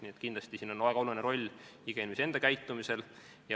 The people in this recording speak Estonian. Nii et kindlasti on siin väga oluline roll iga inimese enda käitumisel.